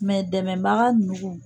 dɛmɛbaga ninnu.